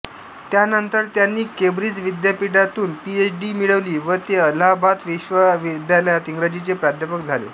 त्यानंतर त्यांनी केंब्रिज विद्यापीठातून पीएच डी मिळवली व ते अलाहाबाद विश्वविद्यालयात इंग्रजीचे प्राध्यापक झाले